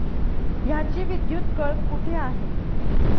ह्याची विद्युत कळ कुठे आहे?